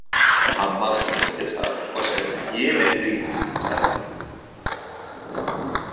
Amma tók undir það og sagði jiminn blíður, stelpan mín.